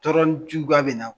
Tɔɔrɔniju k'a bɛna.